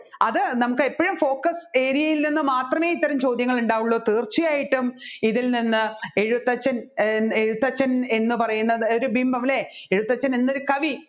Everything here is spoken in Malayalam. അത് നമ്മുക്ക് എപ്പോഴും focus area ൽ നിന്ന് മാത്രമേ ഇത്തരം ചോദ്യങ്ങൾ ഉണ്ടാവുള്ളു തീർച്ചയായിട്ടും ഇതിൽ നിന്ന് എഴുത്തച്ഛൻ എഴുത്തച്ഛൻ എന്ന് പറയുന്ന ഒരു ബിംബം അല്ലെ എഴുത്തച്ഛൻ എന്നൊരു കവി